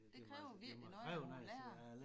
Det kræver virkelig noget af nogen lærere